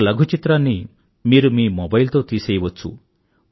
ఒక లఘు చిత్రాన్ని మీరు మీ మొబైల్ తో తీసేయవచ్చు